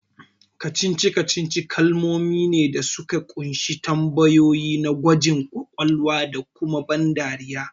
Kacici-kacici kalamai ne da suka kunshi tambayoyi na gwajin kwakwalwa da kuma ban dariya